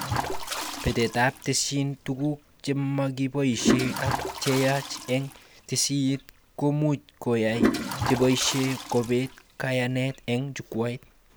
Betetab tesisyit, tuguk chemakiboishe ak cheyach eng tesisyit komuch koyay cheboishe kobet kayanet eng jukwait